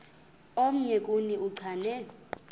omnye kuni uchane